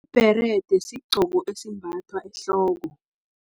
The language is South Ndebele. Ibherede, sigqcoko esimbathwa ehloko.